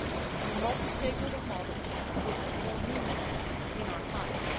and the multi stakeholder model should be given more meaning in our times.